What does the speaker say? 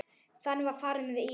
Þannig var farið með Íra.